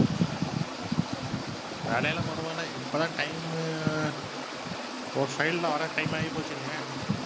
வேலையெல்லாம் பரவாயில்லை இப்பதான் time உ ஒரு file ல வர time ஆயி போச்சுங்க.